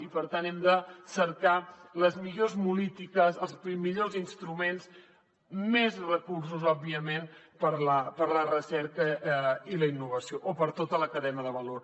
i per tant hem de cercar les millors polítiques els millors instruments més recursos òbviament per a la recerca i la innovació o per a tota la cadena de valor